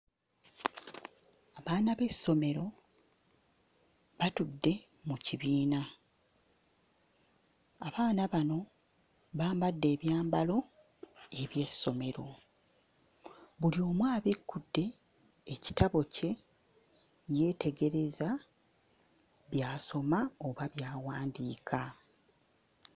Abaana b'essomero batudde mu kibiina. Abaana bano bambadde ebyambalo eby'essomero. Buli omu abikkudde ekitabo kye yeetegereza by'asoma oba by'awandiika.